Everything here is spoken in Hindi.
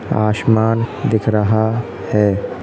आशमान दिख रहा है।